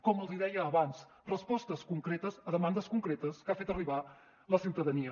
com els deia abans respostes concretes a demandes concretes que ha fet arribar la ciutadania